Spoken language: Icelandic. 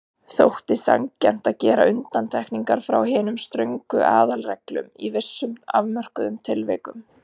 Þótti sanngjarnt að gera undantekningar frá hinum ströngu aðalreglum í vissum afmörkuðum tilvikum.